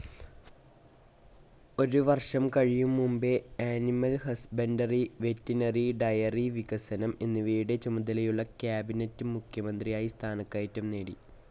ഒരു വർഷം കഴിയും മുമ്പേ അനിമൽ ഹസ്ബൻഡറി, വെറ്റിനറി, ഡയറി വികസനം എന്നിവയുടെ ചുമതലയുള്ള കാബിനറ്റ്‌ മന്ത്രിയായി സ്ഥാനകയറ്റം നേടി.